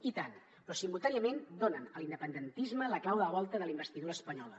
i tant però simultàniament donen a l’independentisme la clau de volta de la investidura espanyola